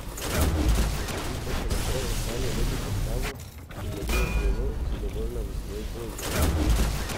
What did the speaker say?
Lepotica še naprej ohranja lepo postavo in deluje zelo zadovoljna v svoji koži.